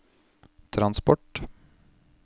transport